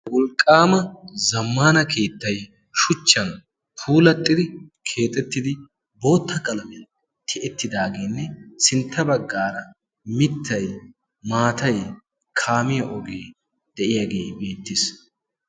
wolqqaama zammana keettay shuchchan puulattidi keexettidi bootta qalamiyan tiyettidaageenne sintta baggaara mittay, maatay, kaamiya ogee de7iyaagee beettes.